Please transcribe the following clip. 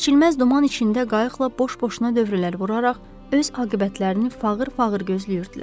Keçilməz duman içində qayıqla boş-boşuna dövrələr vuraraq öz aqibətlərini fağır-fağır gözləyirdilər.